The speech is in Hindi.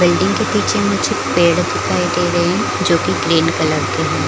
बिल्डिंग के पीछे मुझे पेड़ दिखाई दे रही जो ग्रीन कलर के है।